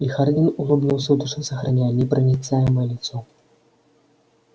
и хардин улыбнулся в душе сохраняя непроницаемое лицо